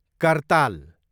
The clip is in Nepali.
कर्ताल